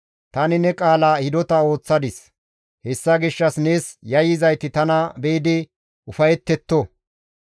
Tani ne qaala hidota ooththadis; hessa gishshas nees yayyizayti tana be7idi ufayetetto.